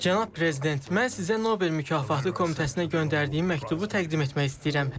Cənab prezident, mən sizə Nobel mükafatı komitəsinə göndərdiyim məktubu təqdim etmək istəyirəm.